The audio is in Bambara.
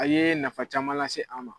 A yee nafa caman lase an ma.